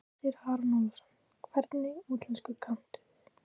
Hersir Aron Ólafsson: Hvernig útlensku kanntu?